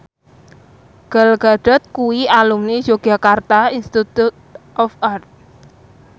Gal Gadot kuwi alumni Yogyakarta Institute of Art